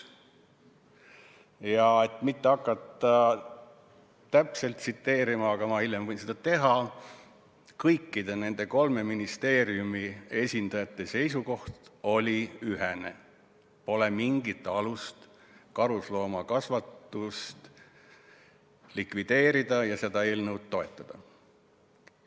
Ma ei hakka täpselt tsiteerima – hiljem võin seda teha –, aga kõikide nende kolme ministeeriumi esindajate seisukoht oli ühene: pole mingit alust karusloomakasvatust likvideerida ja seda eelnõu toetada.